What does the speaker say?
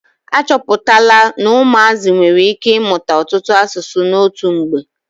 Achọpụtala na ụmụazị nwere ike ị mụta ọtụtụ asụsụ n'otu mgbe.